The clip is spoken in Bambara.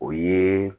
O ye